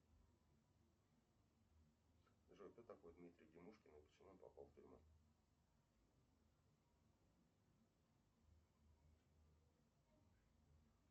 джой кто такой дмитрий демушкин и почему он попал в тюрьму